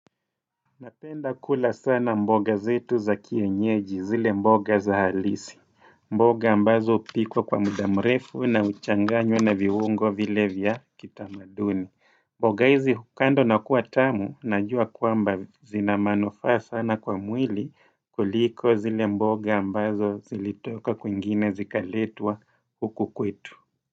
Napenda kula sana mboga zetu za kienyeji zile mboga za halisi mboga ambazo upikwa kwa mudamrefu na uchanganyo na viungo vile vya kitamaduni mboga hizi hukandwabnakua tamu najua kuamba zina manufaa sana kwa mwili kuliko zile mboga ambazo zilitoka kuingine zikaletwa huku kwetu.